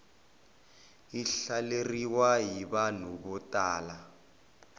yi hlaleriwa hi vanhu vo tala